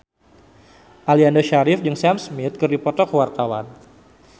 Aliando Syarif jeung Sam Smith keur dipoto ku wartawan